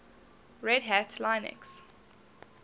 red hat linux